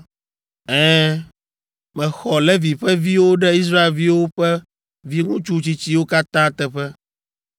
Ɛ̃, mexɔ Levi ƒe viwo ɖe Israelviwo ƒe viŋutsu tsitsiwo katã teƒe.